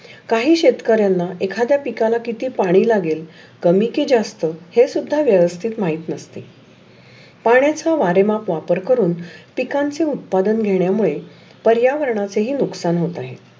काही शेतकऱ्यांना एखाद्या पिकांना किती पाणी लागेल. कमी की जास्त हे सुद्धा व्यवस्थित महित नसते. पाण्याचा वारेमात वापर करुन पीकांची उत्पादन घेण्यामुळे पर्यावरणाचे ही नुकसान होत आहे.